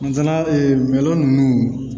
Nga mɛlɔn ninnu